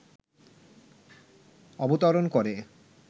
অবতরণ করে